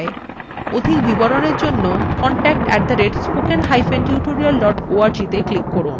অধিক বিবরণের জন্য contact @spokentutorial org তে ইমেল করুন